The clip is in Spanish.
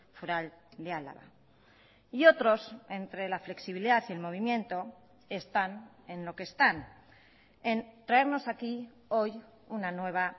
foral de álava y otros entre la flexibilidad y el movimiento están en lo que están en traernos aquí hoy una nueva